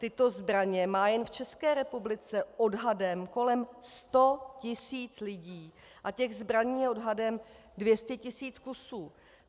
Tyto zbraně má jen v České republice odhadem kolem 100 tis. lidí a těch zbraní je odhadem 200 tis. kusů.